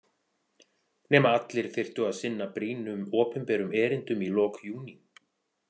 Nema allir þyrftu að sinna brýnum opinberum erindum í lok júní.